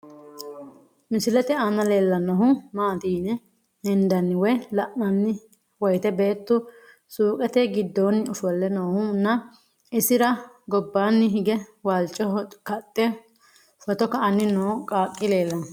Misilette aanna leellanohu maatti yine hendanni woyi la'nanni woyiitte beettu suuqqette giddonni offole noohu nna isira gobbanni hige walicho kaxxe footo ka'anni noo qaaqi leelanno.